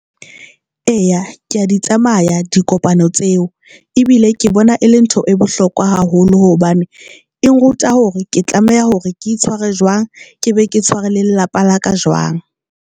Eya, ke ya di tsamaya dikopano tseo ebile ke bona e le ntho e bohlokwa haholo hobane e nruta hore ke tlameha hore ke itshware jwang, ke be ke tshware le lelapa la ka jwang.